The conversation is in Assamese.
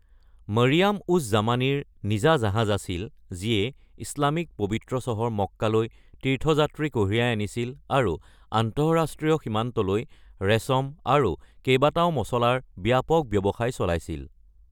মৰিয়াম-উজ-জামানীৰ নিজা জাহাজ আছিল যিয়ে ইছলামিক পবিত্ৰ চহৰ মক্কালৈ তীৰ্থযাত্ৰী কঢ়িয়াই আনিছিল আৰু আন্তঃৰাষ্ট্ৰীয় সীমান্তলৈ ৰেচম আৰু কেইবাটাও মছলাৰ ব্যাপক ব্যৱসায় চলাইছিল।